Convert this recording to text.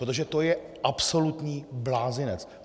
Protože to je absolutní blázinec.